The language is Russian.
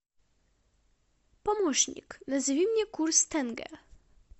помощник назови мне курс тенге